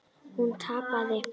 Hún tapaði.